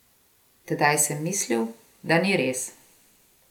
Tedaj sem mislil, da ni res.